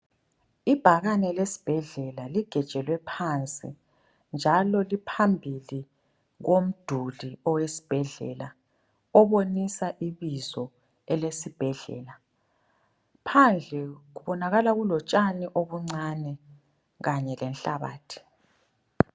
Ibhakane lesibhedlela ligejelwe phansi njalo liphambili komduli owesibhedlela obonisa ibizo elesibhedlela. Phandle kubonakala kulotshani obuncane kanye lenhlabathi.